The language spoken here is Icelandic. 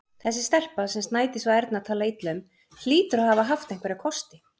Þessi stelpa, sem Sædís og Erna tala illa um, hlýtur að hafa haft einhverja kosti.